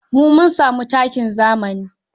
Mun mun sami takin zami.